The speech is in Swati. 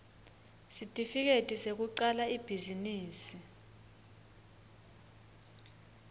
sitifiketi sekucala ibhizinisi